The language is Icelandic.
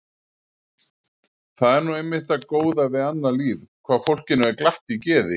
Það er nú einmitt það góða við annað líf hvað fólkinu er glatt í geði.